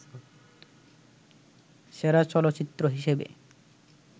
সেরা চলচ্চিত্র হিসেবে